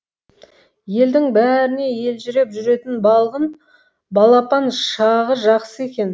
елдің бәріне елжіреп жүретін балғын балапан шағы жақсы екен